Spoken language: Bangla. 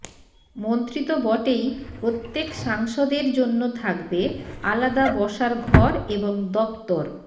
মন্ত্রী তো বটেই প্রত্যেক সাংসদের জন্য থাকবে আলাদা বসার ঘর এবং দপ্তর